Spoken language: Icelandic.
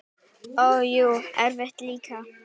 Og jú, erfitt líka.